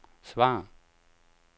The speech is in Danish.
svar